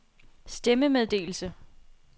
stemmemeddelelse